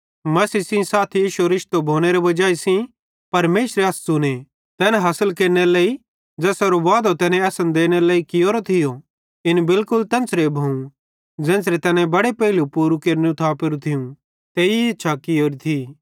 मसीह सेइं इश्शो रिश्तो भोनेरे वजाई सेइं परमेशरे अस च़ुने तैन हासिल केरनेरे लेइ ज़ेसेरो वादे तैने असन देनेरे लेइ कियोरो थियो इन बिलकुल तेन्च़रे भोव ज़ेन्च़रे तैनी बड़े पेइलू पूरू केरनू थापेरू थियूं ते इच्छा कियोरी थी